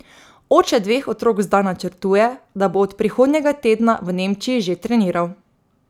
Oče dveh otrok zdaj načrtuje, da bo od prihodnjega tedna v Nemčiji že treniral.